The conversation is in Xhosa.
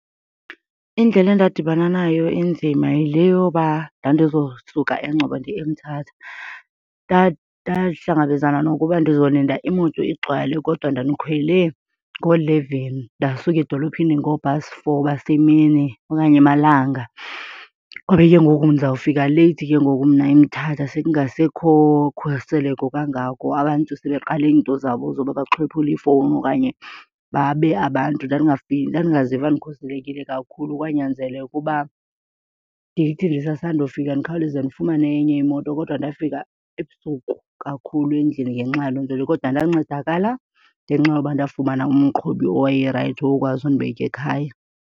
Indlela endadibana nayo enzima yile yoba ndandizosuka eNgcobo ndiye eMthatha. Ndahlangabezana nokuba ndizolinda imoto igcwale, kodwa ndandikhwele ngooleveni ndasuka edolophini ngoo-past four basemini okanye emalanga. Kwabe ke ngoku ndizawufika leyithi ke ngoku mna eMthatha sekungasekho khuseleko kangako, abantu sebeqale iinto zabo zoba baxhwiphule iifowuni okanye babe abantu. Ndandingaziva ndikhuselekile kakhulu, kwanyanzeleka uba ndithi ndisasandofika ndikhawuleze ndifumane enye imoto kodwa ndafika ebusuku kakhulu endlini ngenxa yaloo nto leyo. Kodwa ndancedakala ngenxa yoba ndafumana umqhubi owayerayithi owakwazi undibeka ekhaya.